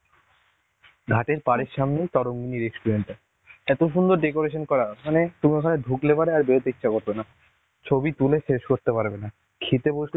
ঘাট এর পারের সামনে তরঙ্গিনী restaurant টা, এত সুন্দর decoration করা ওখানে. তুমি ওখানে ঢুকলে পরে আর বেরোতে ইচ্ছে করবে না, ছবি তুলে শেষ করতে পারবে না. খেতে বসলে